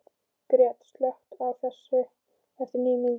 Gret, slökktu á þessu eftir níu mínútur.